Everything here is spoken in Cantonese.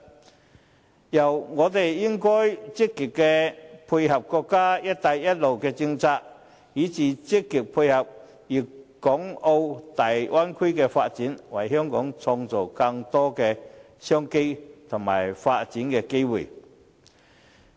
此外，我們應該積極配合國家的"一帶一路"政策，以至積極配合粵港澳大灣區的發展，為香港創造更多的商機和發展機會。